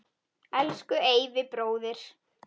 Elsku Eyvi bróðir.